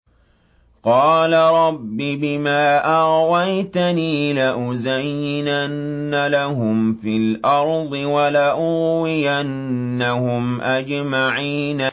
قَالَ رَبِّ بِمَا أَغْوَيْتَنِي لَأُزَيِّنَنَّ لَهُمْ فِي الْأَرْضِ وَلَأُغْوِيَنَّهُمْ أَجْمَعِينَ